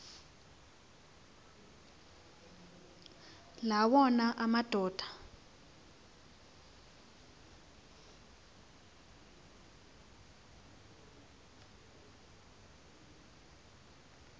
la wona amadoda